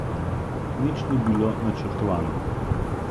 Nič ni bilo načrtovano.